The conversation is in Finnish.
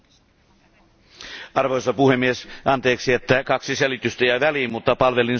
Arvoisa puhemies, anteeksi, että kaksi selitystä jäi väliin, mutta palvelin suomalaista mediaa.